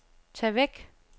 tag væk